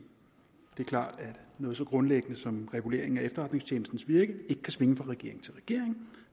det er klart at noget så grundlæggende som reguleringen af efterretningstjenesternes virke ikke kan svinge fra regering til regering